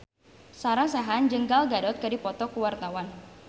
Sarah Sechan jeung Gal Gadot keur dipoto ku wartawan